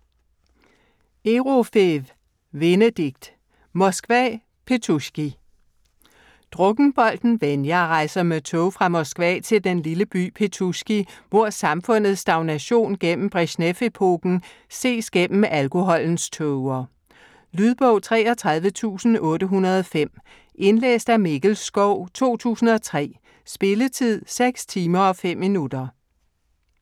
Erofeev, Venedikt: Moskva - Petusjki Drukkenbolten Venja rejser med tog fra Moskva til den lille by Petusjki, hvor samfundets stagnation gennem Brezjnev-epoken ses gennem alkoholens tåger. Lydbog 33805 Indlæst af Mikkel Schou, 2003. Spilletid: 6 timer, 5 minutter.